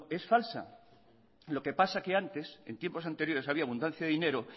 es falsa lo que pasa que antes en tiempos anteriores había abundancia de dinero